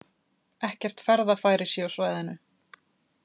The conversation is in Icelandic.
Ekkert ferðafæri sé á svæðinu